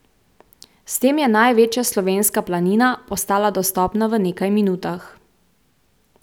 S tem je največja slovenska planina postala dostopna v nekaj minutah.